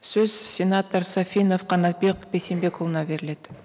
сөз сенатор сафинов қанатбек бейсенбекұлына беріледі